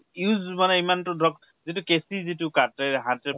use মানে ইমানতো ধৰক , যিটো কেছিৰ যিটো কাতে, হাতে